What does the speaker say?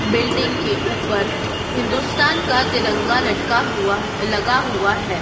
Building के ऊपर हिंदुस्तान का तिरंगा लटका हुआ है लगा हुआ है।